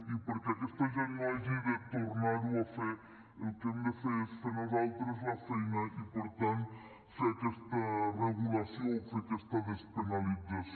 i perquè aquesta gent no hagi de tornar ho a fer el que hem de fer és fer nosaltres la feina i per tant fer aquesta regulació o fer aquesta despenalització